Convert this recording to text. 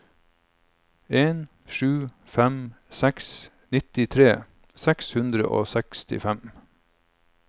en sju fem seks nittitre seks hundre og sekstifem